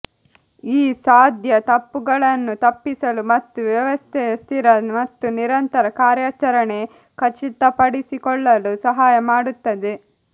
ಈ ಸಾಧ್ಯ ತಪ್ಪುಗಳನ್ನು ತಪ್ಪಿಸಲು ಮತ್ತು ವ್ಯವಸ್ಥೆಯ ಸ್ಥಿರ ಮತ್ತು ನಿರಂತರ ಕಾರ್ಯಾಚರಣೆ ಖಚಿತಪಡಿಸಿಕೊಳ್ಳಲು ಸಹಾಯ ಮಾಡುತ್ತದೆ